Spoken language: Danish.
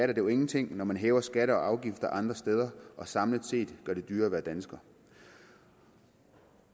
det jo ingenting når man hæver skatter og afgifter andre steder og samlet set gør det dyrere at være dansker